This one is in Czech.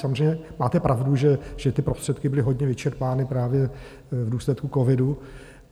Samozřejmě máte pravdu, že ty prostředky byly hodně vyčerpány právě v důsledku covidu.